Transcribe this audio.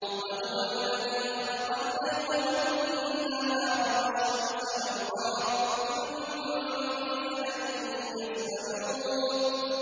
وَهُوَ الَّذِي خَلَقَ اللَّيْلَ وَالنَّهَارَ وَالشَّمْسَ وَالْقَمَرَ ۖ كُلٌّ فِي فَلَكٍ يَسْبَحُونَ